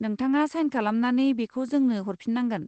नोंथाङा साइन खालामनानै बेखौ जोंनो हरफिननांगोन।